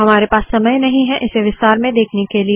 हमारे पास समय नहीं है इसे विस्तार में देखने के लिए